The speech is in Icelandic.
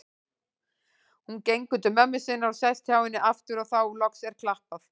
Hún gengur til mömmu sinnar og sest hjá henni aftur og þá loks er klappað.